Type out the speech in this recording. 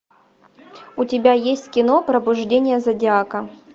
у тебя есть кино пробуждение зодиака